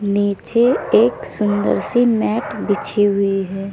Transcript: नीचे एक सुंदर सी मैट बिछी हुई है।